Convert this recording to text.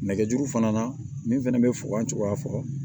Nɛgɛjuru fana na min fɛnɛ bɛ fogon cogoya fɔ